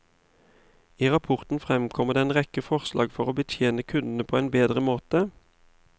I rapporten fremkommer det en rekke forslag for å betjene kundene på en bedre måte.